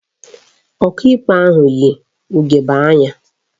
Ọkaikpe ahụ yi ugegbe anya